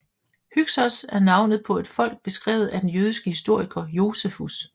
Hyksos er navnet på et folk beskrevet af den jødiske historiker Josefus